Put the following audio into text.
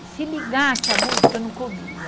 E se ligasse a música, eu não comia.